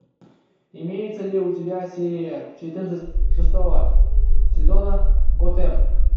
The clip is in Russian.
имеется ли у тебя серия четырнадцать шестого сезона готэм